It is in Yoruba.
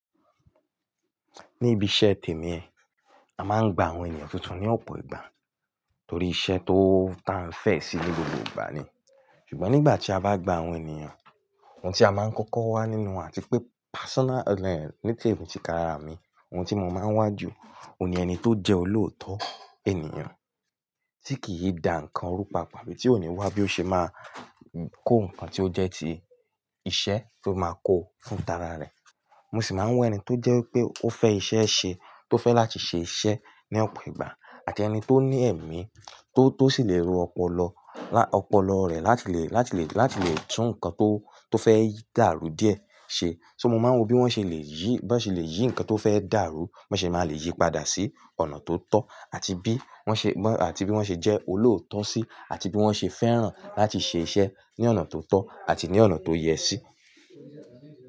Níbi iṣẹ́ tèmi ẹ, a máa ń gba àwọn ènìyàn tuntun ní ọ̀pọ̀ ìgbà torí iṣẹ́ tó ta n fẹ̀ sí ní gbogbo ìgbà ni. Ṣùgbọ́n nígbà tí a bá gba àwọn ènìyàn, ohun tí a máa ń kọ́kọ́ wá nínú àti pé personal ti ka ara mi, ohun tí mo máa ń wá jù òun ni ẹni tó jẹ́ olóòótọ́ ènìyàn tí kì í dà ǹkan rú papọ̀, bí òní wá bí ó ṣe máa kó ǹkan tí ó jẹ́ ti iṣẹ́ tó máa kó fún tara rẹ̀. Mo sì máa ń wé ẹni tó jẹ́ pé ó fẹ́ iṣẹ́ ṣe, tó fẹ́ láti ṣe iṣẹ́ ní ọ̀pọ̀ ìgbà àti ẹni tó ní ẹ̀mí tó, tó sì lè ro ọpọlọ, lá ọpọlọ rẹ̀ láti lè, láti lè, láti lè tún ǹkan tó, tó fẹ́ dàrú díẹ̀ ṣe. So mo máa ń wò bí wọ́n ṣe lè yí, bí wọ́n ṣe lè yí ǹkan tó fẹ́ dàrú, bí wọ́n ṣe máa lè yí padà sí ọ̀nà tó tọ́ àti bí wọ́n ṣe, wọ́n àti bí wọ́n ṣe jẹ́ olóòótọ́ sí, àti bí wọ́n ṣe fẹ́ràn láti ṣe iṣẹ́ ní ọ̀nà tó tọ́ àti ní ọ̀nà tó yẹ sí.